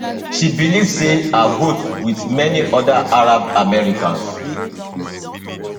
she believe say her vote wit many oda arab americans